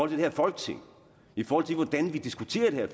det her folketing i forhold til hvordan vi diskuterer det her